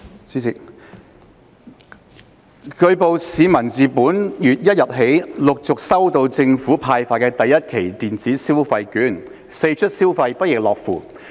主席，據報，市民自本月1日起陸續收到政府派發的第一期電子消費券，四出消費，不亦樂乎。